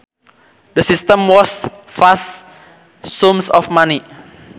The system wastes vast sums of money